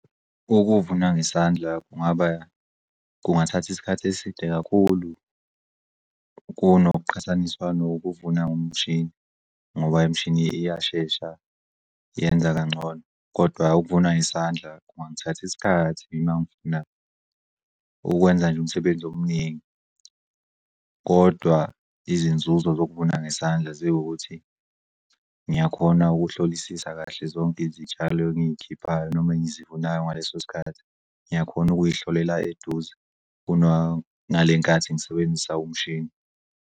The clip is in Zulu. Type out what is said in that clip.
Ukuvuna ngesandla kungathatha isikhathi eside kakhulu kunokuqhathaniswa kunokuvunwa ngomshini ngoba imishini iyashesha yenza kangcono kodwa ukuvuna ngesandla kungangithatha isikhathi mangifuna ukwenza nje umsebenzi omningi. Kodwa izinzuzo zokuvuna ngesandla ziwukuthi ngiyakhona ukuhlolisisa kahle zonke izitshalo engikhiphayo noma engizivunayo ngaleso sikhathi ngiyakhona ukuyihlolela eduze kuna ngalenkathi ngisebenzisa umshini.